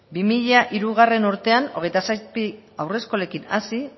bi mila hirugarrena urtean hogeita zazpi haur eskolekin hasi